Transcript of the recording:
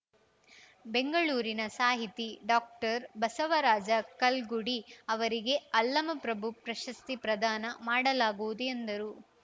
ಬೆಂಗಳೂರಿನ ಸಾಹಿತಿ ಡಾಕ್ಟರ್ ಬಸವರಾಜ ಕಲ್ಗುಡಿ ಅವರಿಗೆ ಅಲ್ಲಮಪ್ರಭು ಪ್ರಶಸ್ತಿ ಪ್ರದಾನ ಮಾಡಲಾಗುವುದು ಎಂದರು